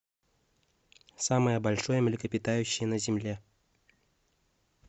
самое большое млекопитающее на земле